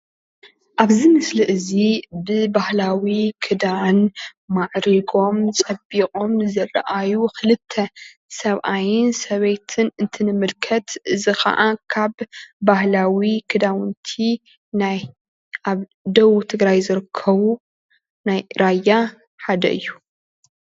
አብዚ ምስሊ እዚ ብባህላዊ ክዳን ማዕሪጎም ፀቢቆም ንዝረእዩ ክልተ ሰብአይን ሰበይትን እንትንምልከት እዚ ከዓ ኣብ ባህላዊ ክዳውንቲ ናይ አብ ደቡብ ትግራይ ዝርከቡ ናይ ራያ ሓደ እዩ።